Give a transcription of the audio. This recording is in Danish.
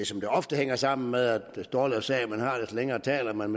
som det ofte hænger sammen at jo dårligere en sag man har jo længere taler man